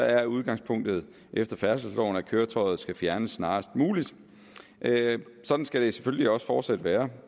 er udgangspunktet at efter færdselsloven skal køretøjet fjernes snarest muligt sådan skal det selvfølgelig også fortsat være